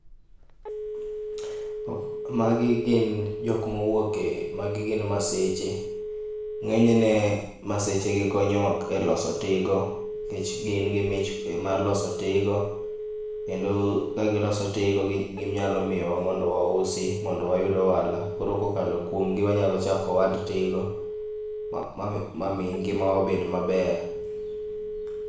Magi gin jokma owuok e ,magi gin maseche, ng'enyne maseche gi konyowa e loso tigo nikech gin gi mich mar loso tigo ,kendo ka giloso tigo ginyalo miyowa mondo wausi mondo wayud ohala, koro kokalo kuomgi wanyalo chako ohand tigo mami ngimawa obed maber